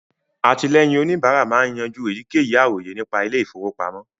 Àtìlẹ́yìn òníbárà máa ń yanjú èyíkéyìí àròyé nípa ilé ìfọwọ́pamọ́